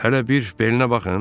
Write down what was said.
Hələ bir belinə baxın.